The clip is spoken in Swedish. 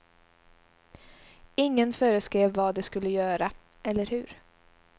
Ingen föreskrev vad de skulle göra, eller hur.